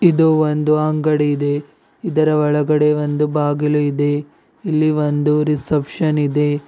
ಇದು ಒಂದು ಅಂಗಡಿ ಇದೆ ಇದರ ಒಳಗಡೆ ಒಂದು ಬಾಗಿಲು ಇದೆ ಇಲ್ಲಿ ಒಂದು ರಿಸೆಪ್ಶನ್ ಇದೆ.